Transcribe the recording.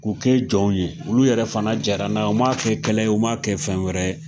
K'u kɛ jɔnw ye olu yɛrɛ fana jɛra n'a ye u m'a kɛ kɛlɛ ye, u m'a kɛ fɛn wɛrɛ ye.